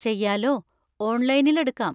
ചെയ്യാലോ, ഓൺലൈനിൽ എടുക്കാം.